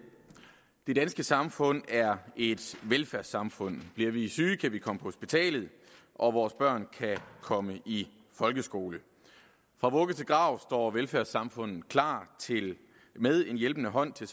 det danske samfund er et velfærdssamfund bliver vi syge kan vi komme på hospitalet og vores børn kan komme i folkeskole fra vugge til grav står velfærdssamfundet klar med en hjælpende hånd til